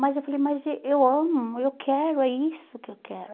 Mas eu falei, mas eh eu amo, eu quero, é isso que eu quero.